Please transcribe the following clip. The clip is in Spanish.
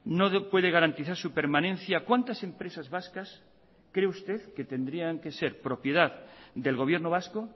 no puede garantizar su permanencia cuántas empresas vascas cree usted que tendrían que ser propiedad del gobierno vasco